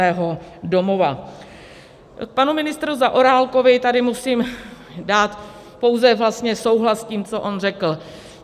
Panu ministru Zaorálkovi tady musím dát pouze vlastně souhlas s tím, co on řekl.